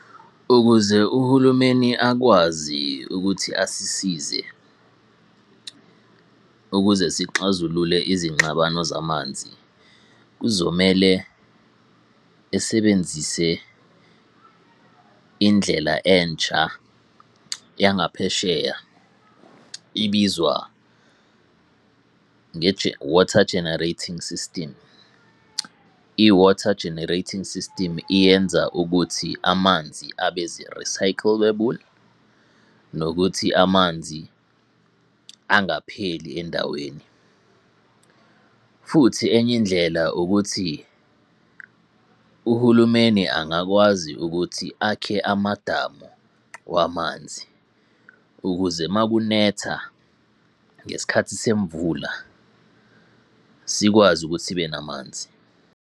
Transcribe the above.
Ukuze uhulumeni akwazi ukuthi asisize ukuze sixazulule izingxabano zamanzi, kuzomele esebenzise indlela entsha yangaphesheya ibizwa, Water Generating System. I-Water Generating System iyenza ukuthi amanzi abeze-recyclable nokuthi amanzi angapheli endaweni. Futhi enye indlela ukuthi uhulumeni angakwazi ukuthi akhe amadamu wamanzi, ukuze uma kunetha ngesikhathi semvula sikwazi ukuthi sibe namanzi.